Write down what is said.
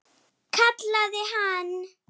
Kallaði hann.